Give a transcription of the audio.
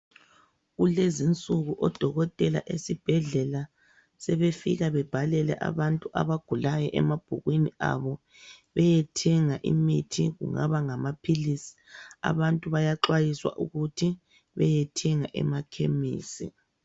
Kulezinsuku odokotela esibhedlela sebefika bebhalele abantu abagulayo emabhukwini abo beyethenga imithi, kungaba ngamaphilisi. Abantu bayaxwayiswa ukuthi beyethenga emakhemisi.